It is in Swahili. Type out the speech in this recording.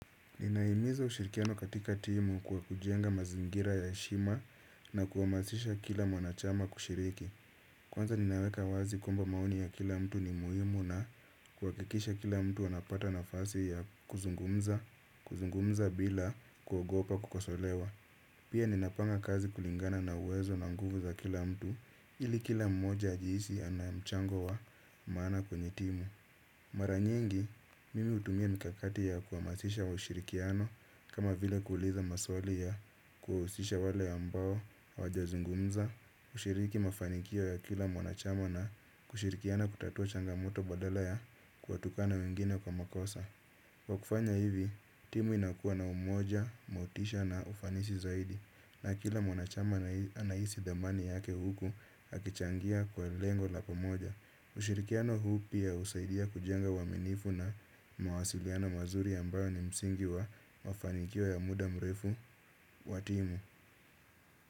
Ninahimiza ushirikiano katika timu kwa kujenga mazingira ya heshima na kuhamasisha kila mwanachama kushiriki. Kwanza ninaweka wazi kwamba maoni ya kila mtu ni muhimu na kuhakikisha kila mtu anapata nafasi ya kuzungumza kuzungumza bila kuogopa kukosolewa. Pia ninapanga kazi kulingana na uwezo na nguvu za kila mtu ili kila mmoja ajihisi ana mchango wa maana kwenye timu. Mara nyingi, mimi hutumia mikakati ya kuhamasisha ushirikiano kama vile kuuliza maswali ya kuhusisha wale ambao hawajazungunza. Kushiriki mafanikio ya kila mwanachama na kushirikiana kutatua changamoto badala ya kuwatukana wengine kwa makosa. Kwa kufanya hivi, timu inakuwa na umoja, motisha na ufanisi zaidi. Na kila mwanachama anahisi dhamani yake huku akichangia kwa lengo la pamoja. Ushirikiano huu pia husaidia kujenga uaminifu na mawasiliano mazuri ambayo ni msingi wa wafanikio ya muda mrefu wa timu.